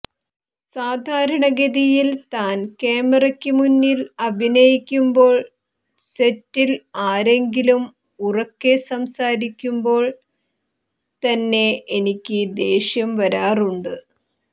സാധാരണഗതിയിൽ ഞാൻ ക്യാമറക്ക് മുന്നിൽ അഭിനയിക്കുമ്പോൾ സെറ്റിൽ ആരെങ്കിലും ഉറക്കെ സംസാരിക്കുമ്പോൾ തന്നെ എനിയ്ക്ക് ദേഷ്യം വരാറുണ്ട്